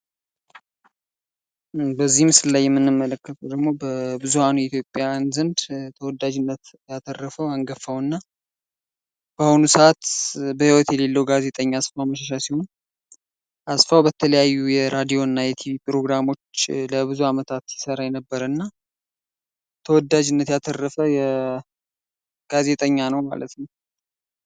በዚህ ምስላይ የምንመለከተው ደግሞ በብዙን ኢትዮጵያውያን ዘንድ ተወዳጅነትን ያተረፈው አንጋፋው እና በአሁኑ ሰዓት በህይወት የሌለው ጋዜጠኛ አስፋው መሸሻ ሲሆን አስፋው በተለያዩ የራድዮ እና የቲቪ ፕሮግራሞች ለብዙ ዓመታት ሲሰራ የነበረ እና ተወዳጅነት ያተረፈ ጋዜጠኛ ነው ማለት ነው ።